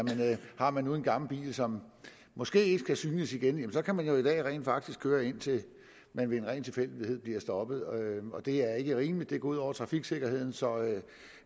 har man nu en gammel bil som måske ikke skal synes igen så kan man i dag rent faktisk køre indtil man ved en ren tilfældighed bliver stoppet det er ikke rimeligt det går ud over trafiksikkerheden så